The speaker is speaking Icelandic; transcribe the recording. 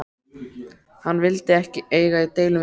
Hann vill ekki eiga í deilum við mig.